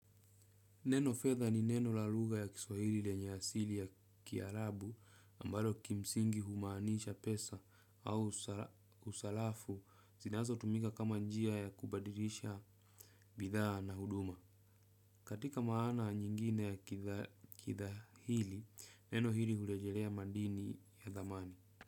Neno fedha ni neno la lugha ya kiswahili lenye asili ya kiarabu ambayo kimsingi humaanisha pesa au usarafu zinazotumika kama njia ya kubadirisha bidhaa na huduma. Katika maana nyingine ya kidhahili, neno hili hurejelea madini ya dhamani.